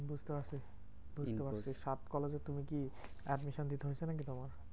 বুঝতে পারছি বুঝতে পারছি সাত কলেজে তুমি কি admission দিতে হয়েছে নাকি তোমাকে?